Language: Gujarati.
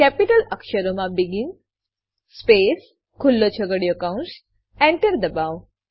કેપિટલ અક્ષરોમાં બેગિન સ્પેસ ખુલ્લો છગડીયો કૌંસ Enter દબાવો